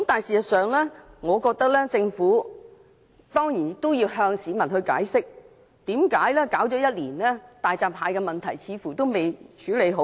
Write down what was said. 事實上，我認為政府要向市民解釋，為何大閘蟹的問題已處理了1年，卻似乎仍未處理好。